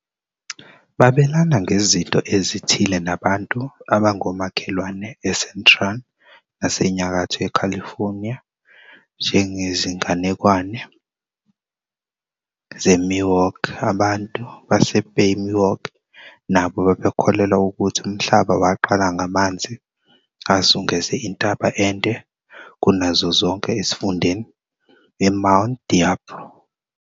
Babelana ngezinto ezithile nabantu abangomakhelwane eCentral naseNyakatho yeCalifornia, njengezinganekwane zeMiwok. Abantu baseBay Miwok nabo babekholelwa ukuthi umhlaba waqala ngamanzi azungeze intaba ende kunazo zonke esifundeni, iMount Diablo.